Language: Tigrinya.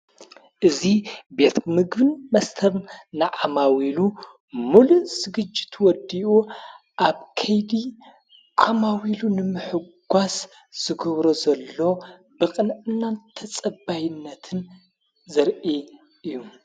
እዙ ቤት ምግብን መስተር ንኣማዊ ኢሉ ሙሉ ዝግጅት ወዲኡ ኣብ ከይድ ዓማዊ ሉ ንምሕጓስ ዝገብሮ ዘሎ ብቕንዕናን ተጸባይነትን ዘርኢ እዩ።